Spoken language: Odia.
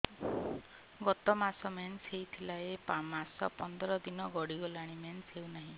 ଗତ ମାସ ମେନ୍ସ ହେଇଥିଲା ଏ ମାସ ପନ୍ଦର ଦିନ ଗଡିଗଲାଣି ମେନ୍ସ ହେଉନାହିଁ